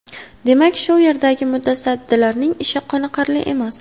Demak, shu yerdagi mutasaddilarning ishi qoniqarli emas.